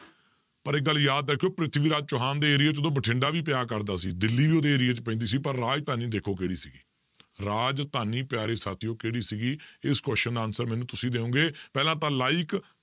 ਪਰ ਇੱਕ ਗੱਲ ਯਾਦ ਰੱਖਿਓ ਪ੍ਰਿਥਵੀ ਰਾਜ ਚੌਹਾਨ ਦੇ ਏਰੀਏ 'ਚ ਉਦੋਂ ਬਠਿੰਡਾ ਵੀ ਪਿਆ ਕਰਦਾ ਸੀ, ਦਿੱਲੀ ਵੀ ਉਹਦੇ ਏਰੀਏ 'ਚ ਪੈਂਦੀ ਪਰ ਰਾਜਧਾਨੀ ਦੇਖੋ ਕਿਹੜੀ ਸੀਗੀ ਰਾਜਧਾਨੀ ਪਿਆਰੇ ਸਾਥੀਓ ਕਿਹੜੀ ਸੀਗੀ, ਇਸ question ਦਾ answer ਮੈਨੂੰ ਤੁਸੀਂ ਦਿਓਗੇ ਪਹਿਲਾਂ ਤਾਂ like